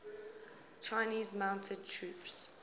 chinese mounted troops